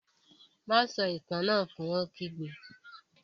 Má a sọ Itàn náà fun! Ó kígbe